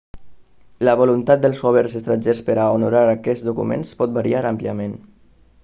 la voluntat dels governs estrangers per a honorar aquests documents pot variar àmpliament